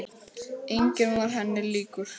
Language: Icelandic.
Enginn var henni líkur.